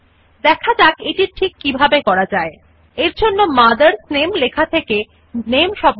instead of typing the same text all over again we can use the copy and paste option in রাইটের